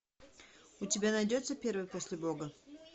у тебя найдется первый после бога